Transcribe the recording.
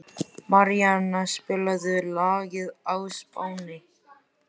Maríanna, spilaðu lagið „Á Spáni“.